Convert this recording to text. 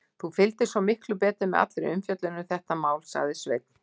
Þú fylgdist miklu betur með allri umfjöllun um þetta mál, sagði Sveinn.